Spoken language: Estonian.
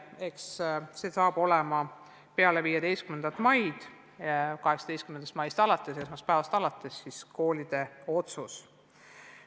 Eks see saab olema peale 15. maid, alates 18. maist, esmaspäevast koolide otsustada.